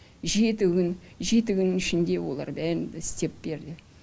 жеті күн жеті күннің ішінде олар бәрін да істеп берді